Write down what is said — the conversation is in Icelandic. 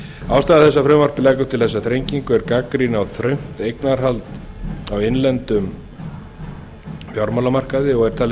ástæða þess að frumvarpið leggur til þessa þrengingu er gagnrýni á þröngt eignarhald á innlendum fjármálamarkaði er talin